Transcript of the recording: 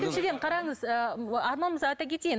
екіншіден қараңыз ыыы арман мырза айта кетейін